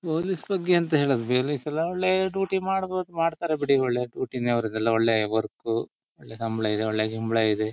Police ಬಗ್ಗೆ ಎಂಥ ಹೇಳೋದು ಪೊಲೀಸ್ ಎಲ್ಲ ಒಳ್ಳೆ ಡ್ಯೂಟಿ ಮಾಡಬೋದು ಮಾಡತಾರೆ ಬಿಡಿ ಒಳ್ಳೆ ಡ್ಯೂಟಿ ನೇ ಅವರದೆಲ್ಲ ಒಳ್ಳೆ ವರ್ಕ್ ಒಳ್ಳೆ ಸಂಬಳ ಇದೆ ಒಳ್ಳೆ ಗಿಂಬಳ ಇದೆ .